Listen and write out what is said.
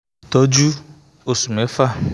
itọju osu mefa